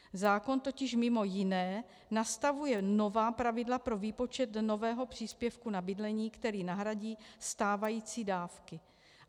Zákon totiž mimo jiné nastavuje nová pravidla pro výpočet nového příspěvku na bydlení, který nahradí stávající dávky.